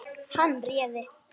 Hann réði.